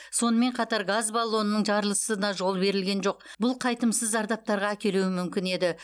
сонымен қатар газ баллонының жарылысына жол берілген жоқ бұл қайтымсыз зардаптарға әкелуі мүмкін еді